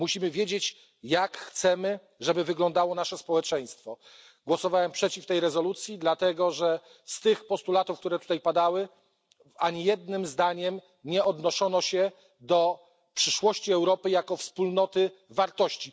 Musimy wiedzieć, jak chcemy, żeby wyglądało nasze społeczeństwo. Głosowałem przeciw tej rezolucji, dlatego że w postulatach, które tutaj padały, ani jednym zdaniem nie odniesiono się do przyszłości Europy jako wspólnoty wartości.